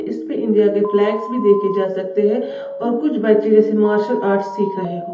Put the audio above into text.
इस पर इंडिया के फ्लैग भी देखे जा सकते हैं और कुछ बच्चे जैसे मार्शल आर्ट सीख रहे हो।